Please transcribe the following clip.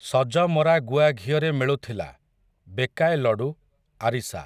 ସଜମରା ଗୁଆଘିଅରେ ମିଳୁଥିଲା, ବେକାଏ ଲଡ଼ୁ, ଆରିଷା।